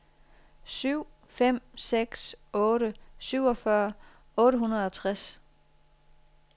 syv fem seks otte syvogfyrre otte hundrede og tres